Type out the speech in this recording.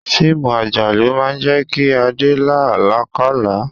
Fíìmù àjálù máa ń jẹ́ kí Adé la alakala.